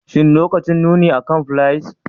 Shin lokacin nuni akan fliers